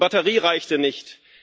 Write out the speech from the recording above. Die Batterie reichte nicht.